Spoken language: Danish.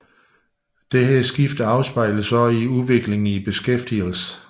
Dette skifte afspejledes også i udviklingen i beskæftigelsen